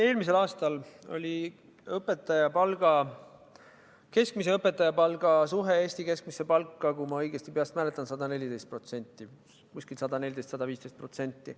Eelmisel aastal oli õpetajate keskmise palga suhe Eesti keskmisesse palka, kui ma õigesti mäletan, kuskil 114% või 115%.